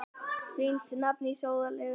Fínt nafn á sóðalegt fyrirbæri.